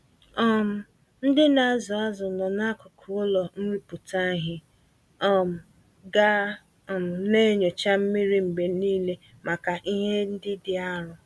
um Ndị nazụ azụ nọ n'akụkụ ụlọ nrụpụta ìhè, um ga um naenyocha mmiri mgbe nile màkà ìhè ndị dị arụ